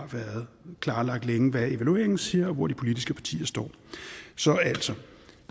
været klarlagt hvad evalueringen siger og hvor de politiske partier står så altså